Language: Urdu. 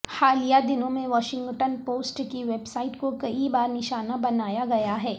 حالیہ دنوں میں واشنگٹن پوسٹ کی ویب سائٹ کو کئی بار نشانہ بنایا گیا ہے